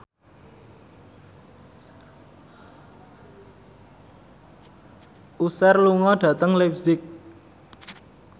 Usher lunga dhateng leipzig